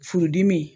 Furudimi